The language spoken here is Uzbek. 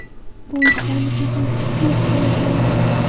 Bu ishlarni qilgan kishi gunohkor bo‘ladi.